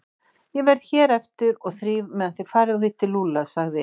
Ég verð hér eftir og þríf meðan þið farið og hittið Lúlla sagði